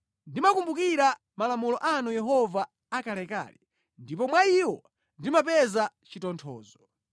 Ndimakumbukira malamulo anu Yehova akalekale, ndipo mwa iwo ndimapeza chitonthozo.